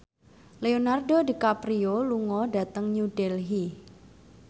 Leonardo DiCaprio lunga dhateng New Delhi